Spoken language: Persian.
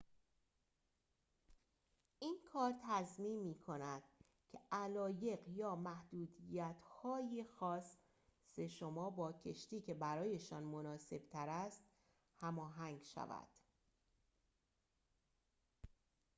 این کار تضمین می‌کند که علایق و/یا محدودیت‌های خاص شما با کشتی که برایشان مناسب‌تر است هماهنگ شود